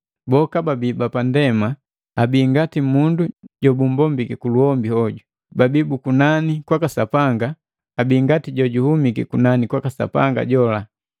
Boka baabii bapa ndema abii ngati mundu jobumbombiki kuluhombi hoju, babii bu kunani kwaka Sapanga abii ngati jojuhumiki kunani kwaka Sapanga jola.